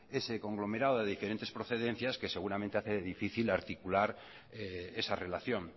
ese conglomerado de diferentes procedencias que seguramente hace difícil articular esa relación